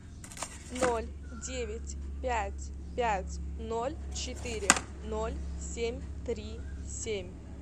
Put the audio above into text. ноль девять пять пять ноль четыре ноль семь три семь